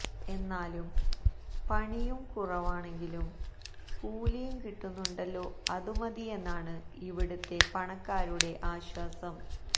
എന്നാലും പണിയും കുറവാണെങ്കിലും കൂലിയും കിട്ടുന്നുണ്ടല്ലോ അതുമതിയെന്നാണ് ഇവിടത്തെ പണിക്കാരുടെ ആശ്വാസം